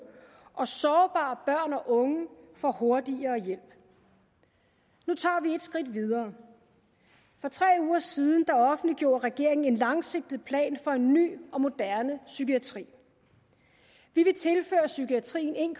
og sårbare børn og unge får hurtigere hjælp nu tager vi et skridt videre for tre uger siden offentliggjorde regeringen en langsigtet plan for en ny og moderne psykiatri vi vil tilføre psykiatrien en